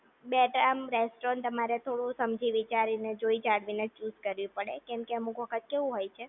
but આમ restaurant તમારે સમજી વિચારીને જોઈ કરવી ને ચુઝ કરવી પડે કેમકે અમુક વખત કેવું હોય છે